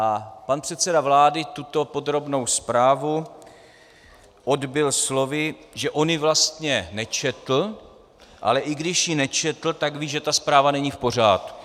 A pan předseda vlády tuto podrobnou zprávu odbyl slovy, že on ji vlastně nečetl, ale i když ji nečetl, tak ví, že ta zpráva není v pořádku.